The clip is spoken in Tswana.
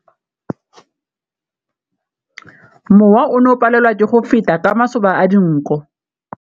Mowa o ne o palelwa ke go feta ka masoba a dinko.